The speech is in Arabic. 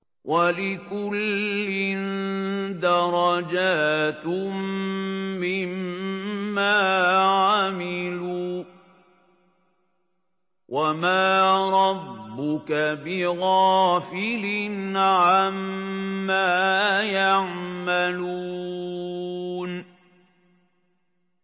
وَلِكُلٍّ دَرَجَاتٌ مِّمَّا عَمِلُوا ۚ وَمَا رَبُّكَ بِغَافِلٍ عَمَّا يَعْمَلُونَ